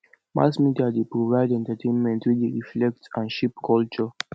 mass media dey provide entertainment wey dey reflect and shape culture